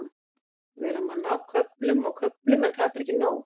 Við erum að ná köflum og köflum en það er bara ekki nóg.